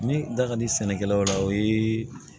Ne da ka di sɛnɛkɛlaw la o ye